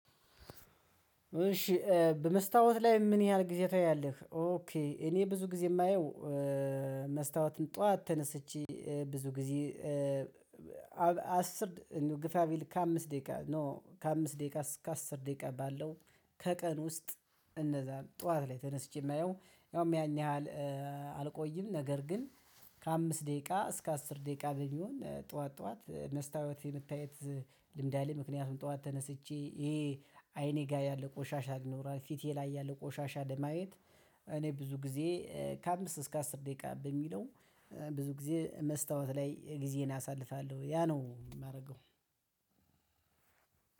እሺ በመስታወት ላይ ምን ያህል ጊዜ ታያለህ? ኦኬ እኔ ብዙ ጊዜ የማየው መስተዋትን ጠዋት ተነስቼ ብዙ ጊዜ አስር ግፋ ቢል ከአምስት ደቂቃ ነው። ከአምስት ደቂቃ እስከ አስር ደቂቃ ባለው ከቀን ውስጥ። እንደዛ ጠዋት ላይ ተነስቼ የማየው ያውም ያን ያህል አልቆይም። ነገር ግን ከአምስት ደቂቃ እስከ አስር ደቂቃ በሚሆን ጠዋት ጠዋት መስታወት የመታየት ልምድ አለኝ። ምክንያቱም ጠዋት ተነስቼ ይሄ አይኔ ጋር ያለ ቆሻሻ ይኖራል። ፊቴ ላይ ያለ ቆሻሻ ለማየት እኔ ብዙ ጊዜ ከአምስት እስከ አስር ደቂቃ በሚለው ብዙ ጊዜ መስታወት ላይ ጊዜን አሳልፋለሁ። ያ ነው ማረገው።